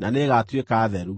na nĩĩgatuĩka theru.